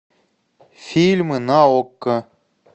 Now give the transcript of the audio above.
фильмы на окко